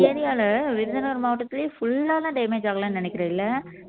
எங்க area ல விருதுநகர் மாவட்டத்திலேயே full ஆ எல்லாம் damage ஆகலைன்னு நினைக்கிற இல்ல